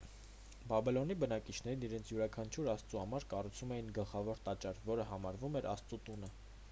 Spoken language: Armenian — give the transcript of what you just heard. բաբելոնի բնակիչներն իրենց յուրաքանչյուր աստծու համար կառուցում էին գլխավոր տաճար որը համարվում էր աստծու տունը